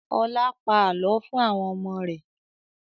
Ọlá pa àálọ́ fún àwọn ọmọ rẹ̀